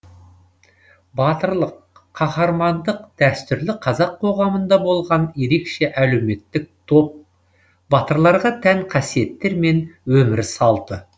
батырлық қаһармандық дәстүрлі қазақ қоғамында болған ерекше әлеуметтік топ батырларға тән қасиеттер мен өмір салты